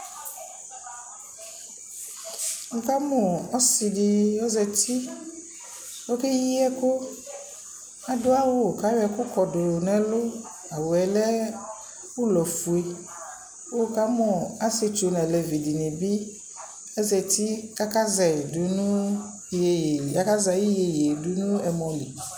Ni ka mʋ ɔsι dι ozati, okeyi ɛkʋ, adʋ awʋ kʋ ayɔ ɛkʋ kɔdʋ nʋɛlʋ, awʋ yɛ lɛ ʋlɔ fʋe, kʋ wʋ ka mʋ asιetsu dιnι nʋ alevi dιnι bι azati kʋ aka zɛ yι dʋ nʋ, akazɛ ayι yeye dʋ nʋ ɛmɔ li